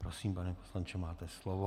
Prosím, pane poslanče, máte slovo.